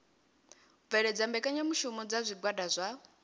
bveledza mbekanyamushumo dza zwigwada zwa